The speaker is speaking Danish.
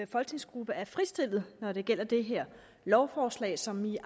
folketingsgruppe er fritstillet når det gælder det her lovforslag som de